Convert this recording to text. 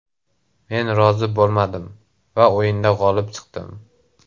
Men rozi bo‘lmadim va o‘yinda g‘olib chiqdim.